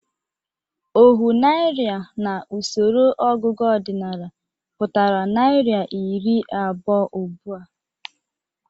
Ohu naịra n'usoro ọgụgụ ọdịnaala pụtara naịra iri abụọ ugbụ a.